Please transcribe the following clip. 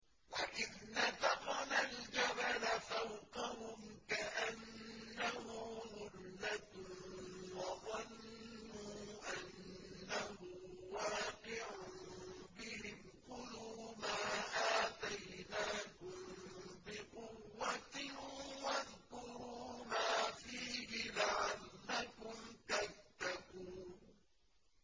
۞ وَإِذْ نَتَقْنَا الْجَبَلَ فَوْقَهُمْ كَأَنَّهُ ظُلَّةٌ وَظَنُّوا أَنَّهُ وَاقِعٌ بِهِمْ خُذُوا مَا آتَيْنَاكُم بِقُوَّةٍ وَاذْكُرُوا مَا فِيهِ لَعَلَّكُمْ تَتَّقُونَ